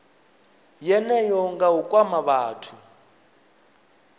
yeneyo nga u kwama vhathu